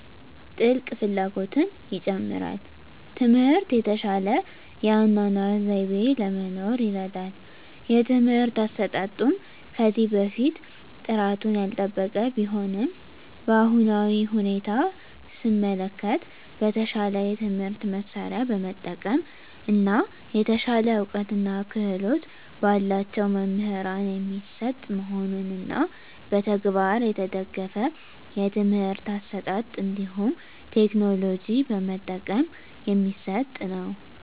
ጥልቅ ፍላጎትን ይጨምራል። ትምህርት የተሻለ የአኗኗር ዘይቤ ለመኖር ይርዳል። የትምህርት አሰጣጡም ከዚህ በፊት ጥራቱን ያልጠበቀ ቢሆንም በአሁናዊ ሁኔታ ሰመለከት በተሻለ የትምህርት መሳርያ በመጠቀም እና የተሻለ እውቀትና ክህሎት በላቸው መምህራን የሚሰጥ መሆኑንና በተግባር የተደገፍ የትምህርት አሰጣጥ እንዲሁም ቴክኖሎጂ በመጠቀም የሚሰጥ ነው።